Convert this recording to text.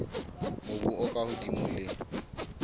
mobu o ka hodimo le